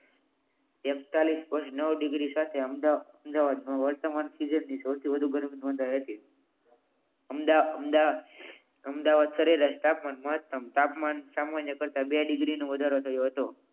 તેતાલિસ point નવ degree સાથે અમદાવાદ નો વર્તમાન સૌથી વધુ ગરમીનો નોધાય હતી અમદાવાદ અમદાવાદ સરેરાશ તાપમાન મહત્તમ તાપમાન સામાન્ય કરતાં બે ડિગ્રીનો વધારો થયો હતો